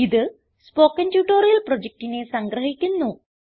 ഇത് spoken tutorial പ്രൊജക്റ്റിനെ സംഗ്രഹിക്കുന്നു